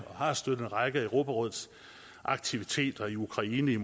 og har støttet en række af europarådets aktiviteter i ukraine i